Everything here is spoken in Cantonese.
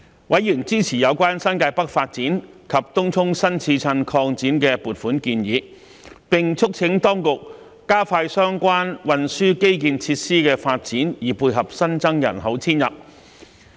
委員支持有關新界北發展及東涌新市鎮擴展的撥款建議，並促請當局加快相關運輸基建設施的發展以配合新增人口遷入。